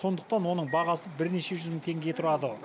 сондықтан оның бағасы бірнеше жүз мың теңге тұрады